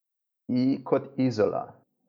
I kot Izola.